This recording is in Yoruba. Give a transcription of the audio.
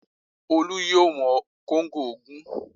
Olú yóò wọn kóńgò ogún